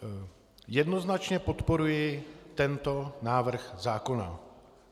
Jednoznačně podporuji tento návrh zákona.